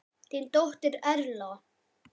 Þín dóttir Erla.